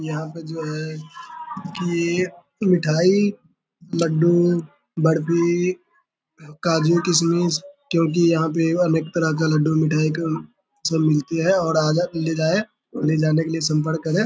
यहां पर जो है की मिठाई लड्डू बर्फी काजू किशमिश क्योंकि यहां पे अनेक तरह का लड्डू मिठाई सब मिलते हैं आए ले जाये और ले जाने के लिए संपर्क करे।